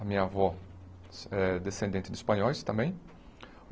A minha avó é descendente de espanhóis também.